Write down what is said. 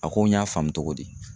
A ko n y'a faamu togo di?